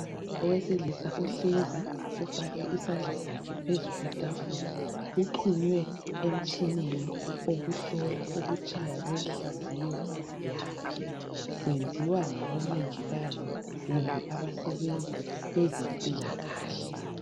Owesilisa uhlezi ufake isandla sakhe phezu kwetafula. Uxunywe emtshineni okuhlola ukutshaya kwenhliziyo yakhe. Kwenziwa ngabomongikazi kumbe abasebenza kwezempilakahle.